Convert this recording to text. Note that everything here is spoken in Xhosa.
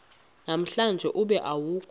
namhlanje ube awukho